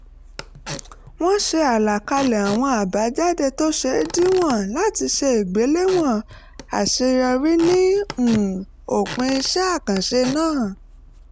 wọ́n ṣe àlàkalẹ̀ àwọn àbájáde tó ṣeé díwọ̀n láti ṣe ìgbèléwọ̀n àṣeyọrí ní um òpin iṣẹ́ àkànṣe náà